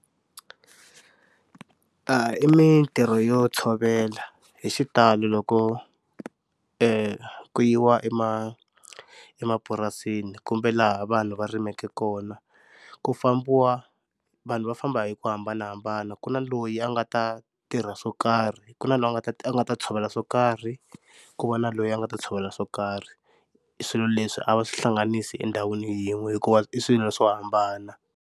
A i mintirho yo tshovela hi xitalo loko ku yiwa emapurasini kumbe laha vanhu va rimaka kona ku fambiwa vanhu va famba hi ku hambanahambana, ku na loyi a nga ta tirha swo karhi ku na loyi a nga ta a nga ta tshovela swo karhi, ku va na loyi a nga ta tshovela swo karhi. Swilo leswi a va swihlanganisi endhawini yin'we hikuva i swilo swo hambana.